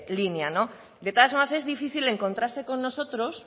línea de todas formas es difícil encontrarse con nosotros